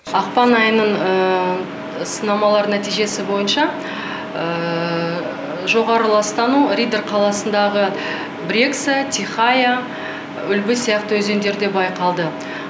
ақпан айының сынамалар нәтижесі бойынша жоғары ластану риддер қаласындағы брекса тихая үлбі сияқты өзендерде байқалды